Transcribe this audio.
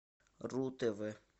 ру тв